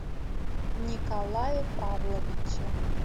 николае павловиче